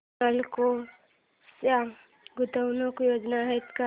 नालको च्या गुंतवणूक योजना आहेत का